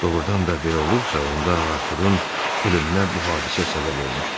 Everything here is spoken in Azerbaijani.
Doğrudan da belə olubsa, onda Arturun ölümünə bu hadisə səbəb olmuşdu.